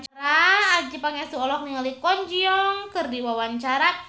Adjie Pangestu olohok ningali Kwon Ji Yong keur diwawancara